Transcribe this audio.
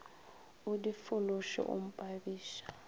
o di fološe o mpabiša